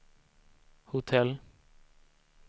hotell